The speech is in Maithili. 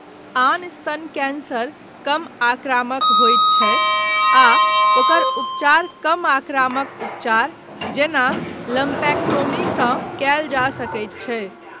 आन स्तन कैन्सर कम आक्रामक होइत छै आ ओकर उपचार कम आक्रामक उपचार, जेना लम्पेक्टोमीसँ कयल जा सकैत छै।